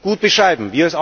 gut beschreiben.